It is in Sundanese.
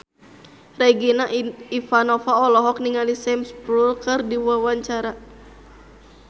Regina Ivanova olohok ningali Sam Spruell keur diwawancara